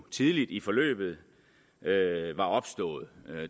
tidligt i forløbet var opstået